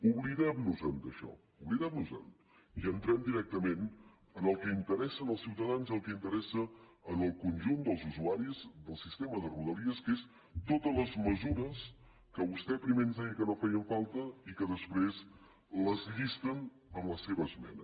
oblidemnos d’això oblidemnosen i entrem directament en el que interessa als ciutadans i en el que interessa al conjunt dels usuaris del sistema de rodalies que són totes les mesures que vostè primer ens deia que no feien falta i que després les llisten en la seva esmena